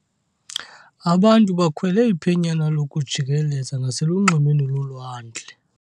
Abantu bakhwele iphenyana lokujikeleza ngaselunxwemeni lolwandle.